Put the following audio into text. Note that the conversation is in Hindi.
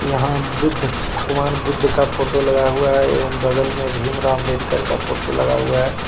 यहाँ बुद्ध भगवान बुद्ध का फोटो लगाया हुआ है एवं बगल में भीमराम आम्बेडकर का फोटो लगाया हुआ है.